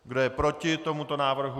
Kdo je proti tomuto návrhu?